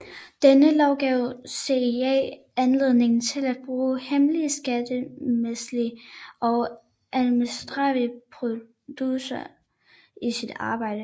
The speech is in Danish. Denne lov gav CIA anledning til at bruge hemmelige skattemæssige og administrative procedurer i sit arbejde